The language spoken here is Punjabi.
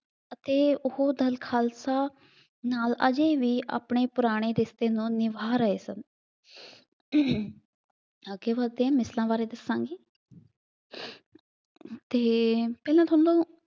ਅਤੇ ਉਹ ਦਲ ਖਾਲਸਾ ਨਾਲ ਅਜੇ ਵੀ ਆਪਣੇ ਪੁਰਾਣੇ ਰਿਸ਼ਤੇ ਨੂੰ ਨਿਭਾ ਰਹੇ ਸਨ। ਅੱਗੇ ਵੱਦਦੇ ਹਾਂ ਮਿਸਲਾਂ ਬਾਰੇ ਦੱਸਾਂਗੇ ਅਤੇ ਪਹਿਲਾਂ ਤੁਹਾਨੂੰ